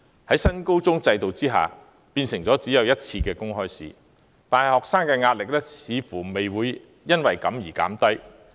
在新高中學制改為只有1次公開試，但學生的壓力似乎並未因而減低。